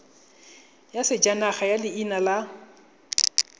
ya sejanaga ya leina la